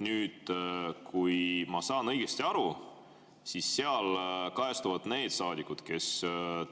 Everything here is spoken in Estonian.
Kui ma saan õigesti aru, siis seal kajastuvad need saadikud, kes